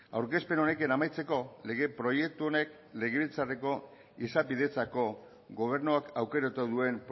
aurkezpen honekin amaitzeko lege proiektu honek legebiltzarreko izapidetzako gobernuak aukeratu duen